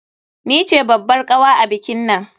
Ni ce babbar kawa a bikinnan.